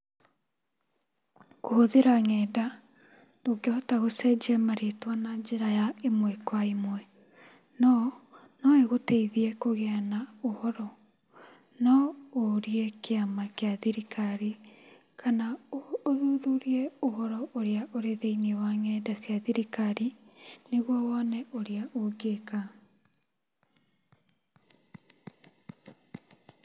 Kũhũthĩra ng'enda, ndũngĩhota gũcenjia marĩtwa ĩmwe kwa ĩmwe.No, noĩgũteithie kũgĩa na ũhoro. Noũrie kĩama kĩa thirikari kana ũthuthurie ũhoro ũrĩa ũrĩ ng'enda-inĩ cia thirikari, nĩguo wone ũrĩa ũngĩka.